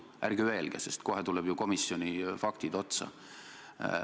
Ärge öelge, sest kohe tulevad ju komisjoni faktid otsa.